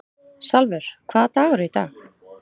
Sólvör, hvaða dagur er í dag?